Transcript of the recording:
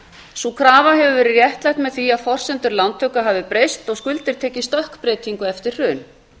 sú krafa hefur verið réttlætt með því að forsendur lántöku hafi breyst og skuldir tekið stökkbreytingu eftir hrun